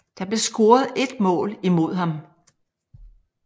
Der blev scoret 1 mål imod ham